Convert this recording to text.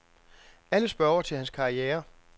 Alle spørger til hans karriere.